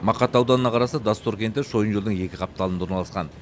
мақат ауданына қарасты доссор кенті шойын жолдың екі қапталында орналасқан